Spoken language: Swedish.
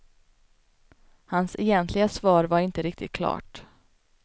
Hans egentliga svar var inte riktigt klart.